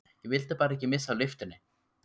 Ég vildi bara ekki missa af lyftunni!